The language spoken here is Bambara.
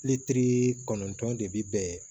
Litiri kɔnɔntɔn de bi bɛn